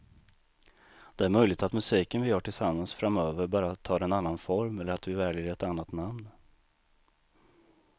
Det är möjligt att musiken vi gör tillsammans framöver bara tar en annan form eller att vi väljer ett annat namn.